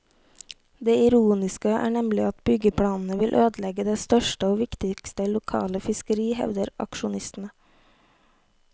Det ironiske er nemlig at byggeplanene vil ødelegge det største og viktigste lokale fiskeri, hevder aksjonistene.